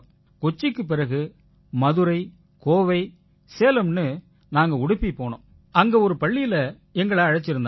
கொச்சியிக்குப் பிறகு மதுரை கோவை சேலம்னு நாங்க உடுப்பி போனோம் அங்க ஒரு பள்ளியில எங்களை அழைச்சிருந்தாங்க